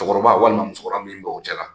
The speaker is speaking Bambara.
Cɛkɔrɔba walima musokɔrɔba min bɛ u cɛla.